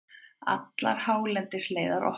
Allar hálendisleiðir opnar